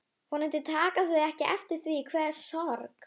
Vonandi taka þau ekki eftir því hve sorg